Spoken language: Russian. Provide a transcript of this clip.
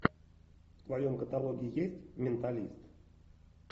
в твоем каталоге есть менталист